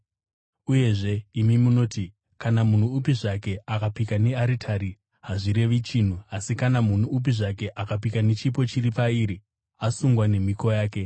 Uyezve imi munoti, ‘Kana munhu upi zvake akapika nearitari hazvirevi chinhu, asi kana munhu upi zvake akapika nechipo chiri pairi, asungwa nemhiko yake.’